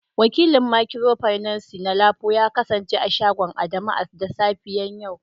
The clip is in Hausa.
Wakilin micropinaci na lapo ya kasance a shagon Adamu da safiyar yau